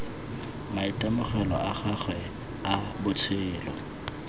maitemogelo a gagwe a botshelo